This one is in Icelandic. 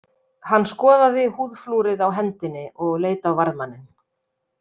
Hann skoðaði húðflúrið á hendinni og leit á varðmanninn.